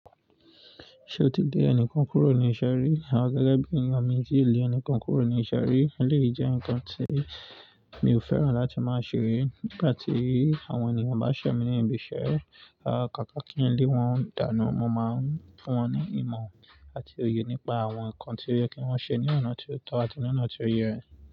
Ṣe o ti lé ẹnì kan kúrò ní ise rí? Awon gẹ́gẹ́ bí ènìyàn mí o tíì lé ẹni kan kúrò ní iṣẹ́ rí lè jẹ́ ǹkan tí mi ò fẹ́ràn láti máa ṣe rí. Nígbà tí àwọn ènìyàn bá ṣẹ̀ mí ní ibi iṣẹ́, à káká kí ǹlé wọn dànù. Mo máa ń fún wọn ní ìmọ̀ àti òye nípa àwọn ǹkan tí ó yẹ kí wọ́n ṣe ní ọ̀nà tí ó tọ́ àti ní ọ̀nà tí ó yẹ.